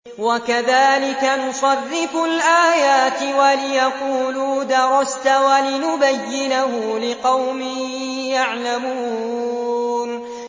وَكَذَٰلِكَ نُصَرِّفُ الْآيَاتِ وَلِيَقُولُوا دَرَسْتَ وَلِنُبَيِّنَهُ لِقَوْمٍ يَعْلَمُونَ